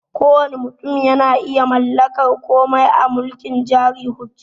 Kowanne mutum yana iya mallakar komai a mulkin jari hujja